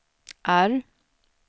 R